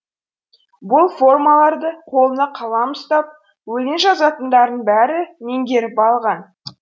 бұл формаларды қолына қалам ұстап өлең жазатындардың бәрі меңгеріп алған